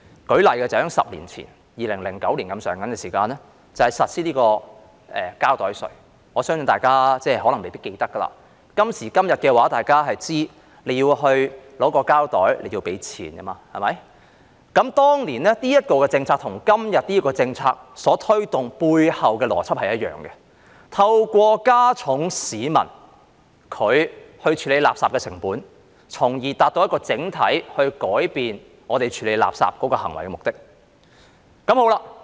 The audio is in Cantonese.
舉例說，在10年前，大約在2009年實施膠袋稅，我相信大家可能未必記得，今時今日大家都知道索取膠袋便要付錢，當年這項政策與今天這項政策所推動的背後邏輯是一樣的，透過加重市民處理垃圾的成本，從而達到整體改變我們處理垃圾行為的目的。